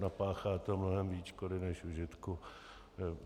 Napáchá to mnohem více škody než užitku.